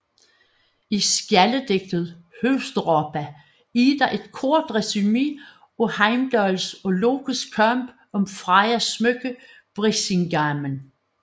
I skjaldedigtet Húsdrápa er der et kort resumé af Heimdalls og Lokes kamp om Frejas smykke Brísingamen